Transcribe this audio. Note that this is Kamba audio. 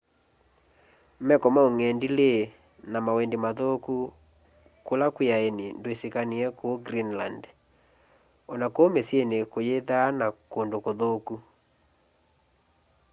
meko ma ũng'endilĩ na mawendĩ mathũkũ kũla kwĩ aenĩ ndĩsĩkanĩwe kũũ greenland ona kũũ mĩsyĩnĩ kũyĩthaa na kũndũ kũthũkũ